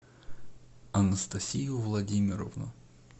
анастасию владимировну